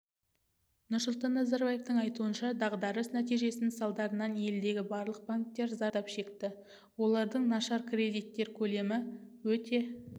нұрсұлтан назарбаевтың айтуынша дағдрыс нәтижесінің салдарынан елдегі барлық банктер зардап шекті олардың нашар кредиттер көлемі өте